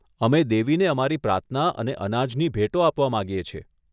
અમે દેવીને અમારી પ્રાર્થના અને અનાજની ભેટો આપવા માંગીએ છીએ.